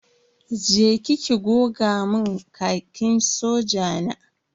Je ki ki goga mun Khakin soja na.